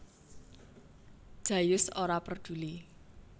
Jayus ora perduli